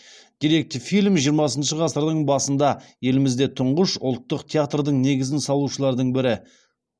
деректі фильм жиырмасыншы ғасырдың басында елімізде тұңғыш ұлтық театрдың негізін салушылардың бірі